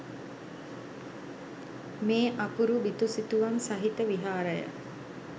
මේ අපුරු බිතු සිතුවම් සහිත විහාරය